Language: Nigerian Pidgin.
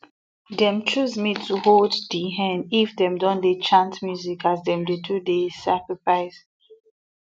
dem choose me to hold di hen if them don dey chant music as dem dey do the sacrifice